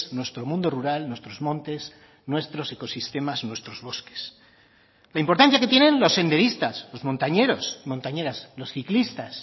nuestro mundo rural nuestros montes nuestros ecosistemas nuestros bosques la importancia que tienen los senderistas los montañeros montañeras los ciclistas